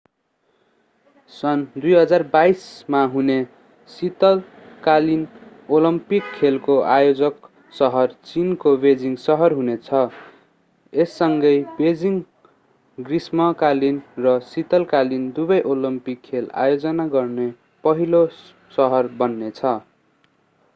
सन् 2022 मा हुने शीतकालीन ओलम्पिक खेलको आयोजक सहर चीनको बेइजिङ सहर हुने छ यससँगै बेइजिङ ग्रीष्मकालीन र शीतकालीन दुवै ओलम्पिक खेल आयोजना गर्ने पहिलो सहर बन्ने छ